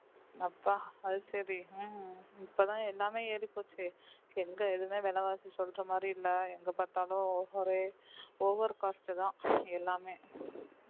அப்பா அது சரி ஹம் இப்பதான் எல்லாமே ஏறிப் போச்சே எங்க எதுவுமே விலைவாசி சொல்ற மாதிரி இல்லை எங்க பார்த்தாலும் ஒரே over cost தான் எல்லாமே